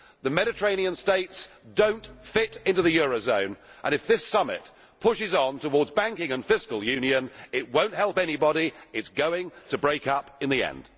The Mediterranean states do not fit into the euro zone, and if this summit pushes on towards banking and fiscal union, it will not help anybody it is going to break up in the end.